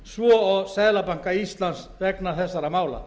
svo og seðlabanka íslands vegna þessara mála